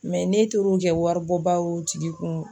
Mɛ ne tor'o kɛ waribɔba y'o tigi kun